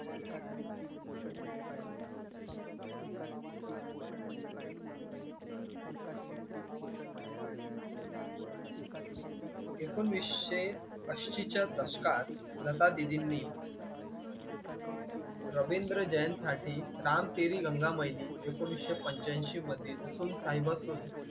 ऐकोनिसशे अंशी च्या दशकात लता दीदीं नी रविंद्र जैनसाठी राम तेरी गंगा मैली ऐकोनिसशे पंचाऐंशी मध्ये सुन साहिबा सुन